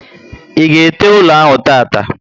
I ga ete ụlọ ahụ tata